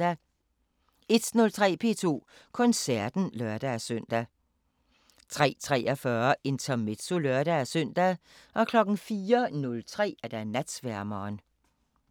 01:03: P2 Koncerten (lør-søn) 03:43: Intermezzo (lør-søn) 04:03: Natsværmeren